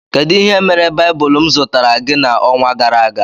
Kedụ ihe mere baibulu m zụtara gị na ọnwa gara aga?